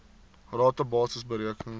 rata basis bereken